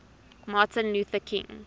martin luther king